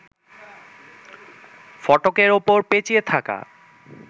ফটকের ওপর পেঁচিয়ে থাকা